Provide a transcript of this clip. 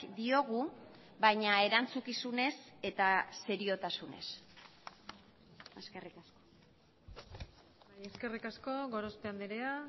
diogu baina erantzukizunez eta seriotasunez eskerrik asko eskerrik asko gorospe andrea